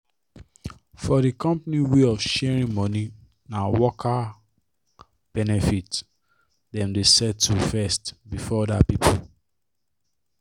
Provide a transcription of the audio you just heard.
for the company way of sharing money na worker benefit dem dey settle first before other people